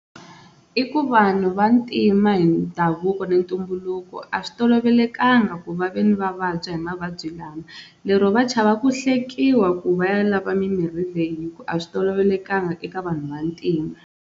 I ku vanhu va ntima hi ndhavuko ni ntumbuluko a swi tolovelekanga ku va ve ni va vabya hi mavabyi lama lero va chava ku hlekiwa ku va ya lava mimirhi leyi hi ku a swi tolovelekanga eka vanhu va ntima.